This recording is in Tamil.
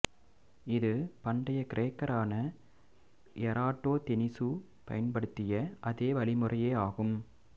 இது பண்டைய கிரேக்கரான எராட்டோதெனீசு பயன்படுத்திய அதே வழிமுறையே ஆகும்